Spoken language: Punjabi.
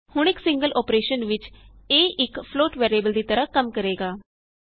ਹੁਣ ਇਕ ਸਿੰਗਲ ਅੋਪਰੇਸ਼ਨ ਵਿਚ a ਇਕ ਫਲੋਟ ਵੈਰੀਏਬਲ ਦੀ ਤਰ੍ਹਾਂ ਕੰਮ ਕਰੇਗਾ